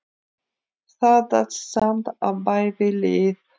Það datt samt á bæði lið.